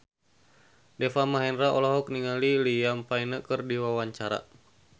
Deva Mahendra olohok ningali Liam Payne keur diwawancara